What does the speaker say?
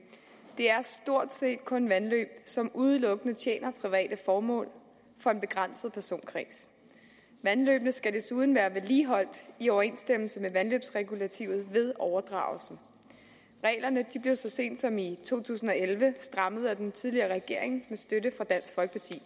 er stort set kun vandløb som udelukkende tjener private formål for en begrænset personkreds vandløbene skal desuden være vedligeholdt i overensstemmelse med vandløbsregulativet ved overdragelsen reglerne blev så sent som i to tusind og elleve strammet af den tidligere regering med støtte fra dansk